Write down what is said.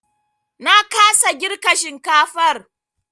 Na kasa girka shinkafar.